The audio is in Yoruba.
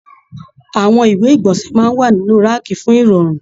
Àwọn ìwé igbọnsẹ máa n wà nínú raakí fún irọrun.